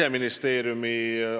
Aga ma tänan tähelepanu juhtimise eest!